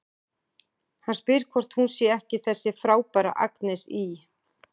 Hann spyr hvort hún sé ekki þessi frábæra Agnes í